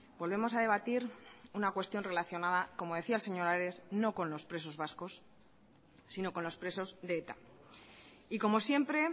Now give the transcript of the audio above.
volvemos a debatir una cuestión relacionada como decía el señor ares no con los presos vascos sino con los presos de eta y como siempre